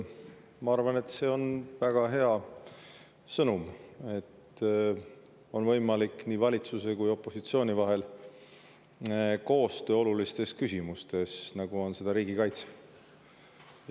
Ma arvan, et see on väga hea sõnum, et on võimalik koostöö valitsuse ja opositsiooni vahel nii olulistes küsimustes, nagu seda on riigikaitse.